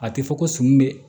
A tɛ fɔ ko sun bɛ